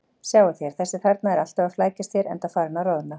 Sjáið þér: Þessi þarna er alltaf að flækjast hér, enda farinn að roðna.